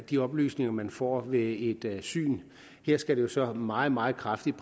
de oplysninger man får ved et syn her skal det så præciseres meget meget kraftigt